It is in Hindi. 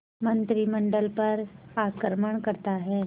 मंत्रिमंडल पर आक्रमण करता है